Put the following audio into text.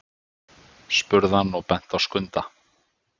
spurði hann og benti á Skunda.